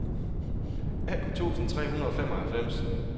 atten tusind tre hundrede og femoghalvfems